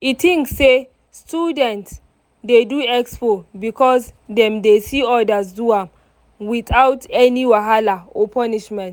e think say students dey do expo because dem dey see others do am without any wahala or punishment.